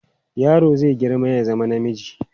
Yaro zai girma ya zama namiji.